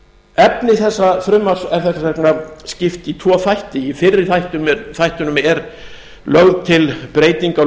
efni þessa frumvarps er þess vegna skipt í tvo þætti í fyrri þættinum er lögð til breyting á